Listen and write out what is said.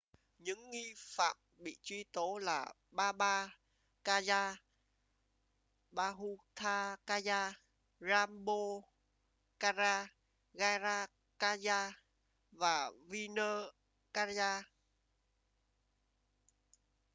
những nghi phạm bị truy tố là baba kanjar bhutha kanjar rampro kanjar gaza kanjar và vishnu kanjar